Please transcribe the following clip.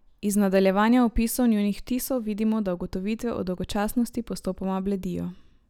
Iz nadaljevanja opisov njunih vtisov vidimo, da ugotovitve o dolgočasnosti postopoma bledijo.